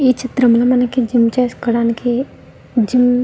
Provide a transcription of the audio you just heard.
ఈ చిత్రం లో మనకి జిమ్ చేసుకోడానికి జిమ్ --